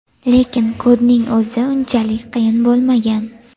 Lekin kodning o‘zi unchalik qiyin bo‘lmagan.